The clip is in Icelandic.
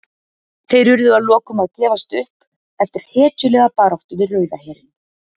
Þeir urðu að lokum að gefast upp eftir hetjulega baráttu við Rauða herinn.